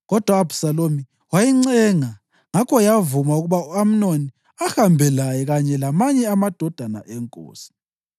Kodwa u-Abhisalomu wayincenga, ngakho yavuma ukuba u-Amnoni ahambe laye kanye lamanye amadodana enkosi.